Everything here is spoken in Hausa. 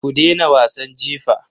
Ku dena wasan jifa.